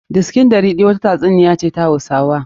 Disikin ɗariki' wata ta tsuniyan hausawa ne.